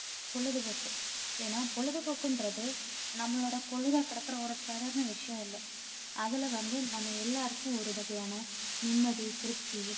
பொழுதுபோக்கு. ஏன்னா பொழுதுபோக்குன்றது நம்மளோட பொழுதை கடக்குற சாதாரண ஒரு விஷயம் இல்ல அதுல வந்து நம்ம எல்லாருக்கும் ஒரு வகையான நிம்மதி திருப்தி